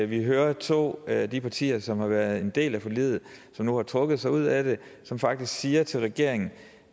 vi hører to af de partier som har været en del af forliget som nu har trukket sig ud af det som faktisk siger til regeringen